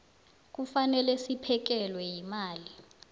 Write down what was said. kufanele siphekelwe yimali